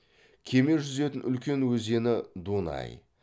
кеме жүзетін үлкен өзені дунай